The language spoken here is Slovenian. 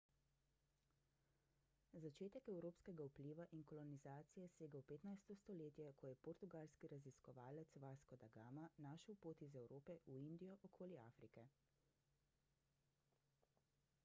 začetek evropskega vpliva in kolonizacije sega v 15 stoletje ko je portugalski raziskovalec vasco da gama našel pot iz evrope v indijo okoli afrike